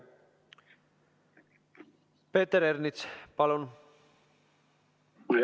Peeter Ernits, palun!